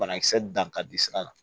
Banakisɛ dan ka di sira la